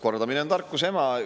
Kordamine on tarkuse ema.